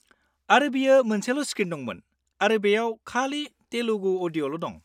-आरो बेयो मोनसेल' स्क्रिन दंमोन आरो बेयाव खालि तेलुगु अडिय'ल' दं।